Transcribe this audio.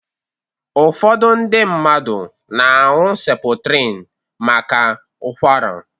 Ụfọdụ ndị mmadụ na-añu Seputrinu maka Ụkwara.